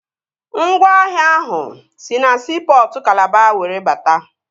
Ngwaahịa ahụ si na siipọtụ Kalaba were bata